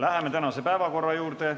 Läheme tänase päevakorra juurde.